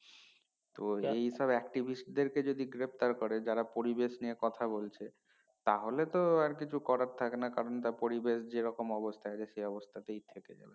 তো এই সব activist দেরকে যদি গ্রেফতার করে যারা পরিবেশ নিয়ে কথা বলছে তাহলে তো আর কিছু করার থাকে না কারণ তা পরিবেশ যে রকম অবস্থা সেই রকম অবস্থাতেই থেকে যাবে